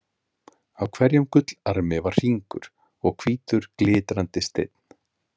Á hverjum gullarmi var hringur og hvítur glitrandi steinn.